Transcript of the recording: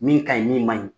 Min ka ɲi min man ɲi